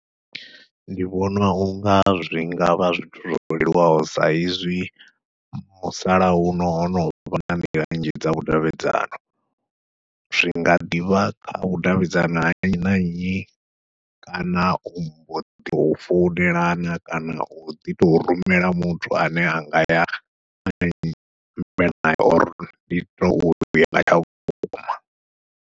Ndi vhona unga zwi nga vha zwithu zwo leluwaho saizwi musalauno ho no vha na nḓila nnzhi dza vhudavhidzani, zwi nga ḓivha kha u vhudavhidzana ha nnyi na nnyi, kana u founela kana u ḓi tou rumela muthu ane a nga ya vhukuma.